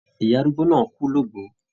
Ìyá arúgbó náà kù l'ogbo.